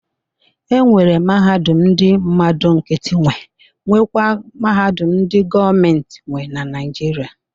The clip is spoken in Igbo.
E nwere mahadum ndị mmadụ nkịtị nwe nwekwa mahadum ndị gọọmentị nwe na Naịjirịa.